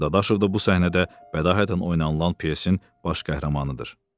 Dadaşov da bu səhnədə bədahətən oynanılan pyesin baş qəhrəmanıdır.